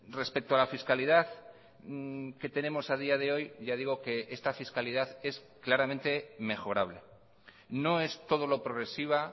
respecto a la fiscalidad que tenemos a día de hoy ya digo que esta fiscalidad es claramente mejorable no es todo lo progresiva